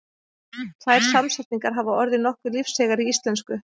Tvær samsetningar hafa orðið nokkuð lífseigar í íslensku.